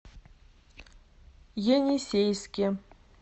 енисейске